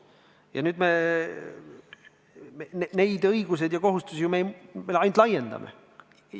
Ja nüüd me neid õigusi ja kohustusi ainult laiendame.